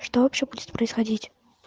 что вообще будет происходить